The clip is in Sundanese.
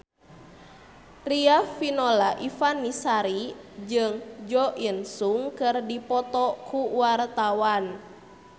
Riafinola Ifani Sari jeung Jo In Sung keur dipoto ku wartawan